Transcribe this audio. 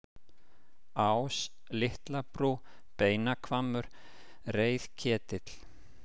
Ás, Litlabrú, Beinahvammur, Reiðketill